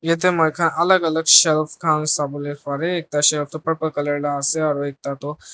ete moi khan alak alak shelf khan sabo le pare ekta shelf tu purple colour la ase aru ekta toh--